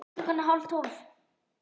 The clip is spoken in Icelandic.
Ræningjarnir lögðu síðan á flótta